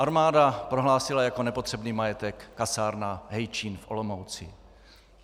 Armáda prohlásila jako nepotřebný majetek kasárna Hejčín v Olomouci.